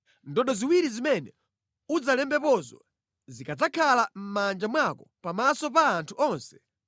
Ndodo ziwiri zimene udzalembepozo zikadzakhala mʼmanja mwako pamaso pa anthu onse,